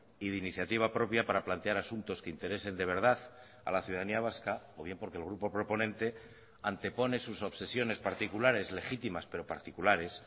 y de iniciativa propia para plantear asuntos que interesen de verdad a la ciudadanía vasca o bien porque el grupo proponente antepone sus obsesiones particulares legítimas pero particulares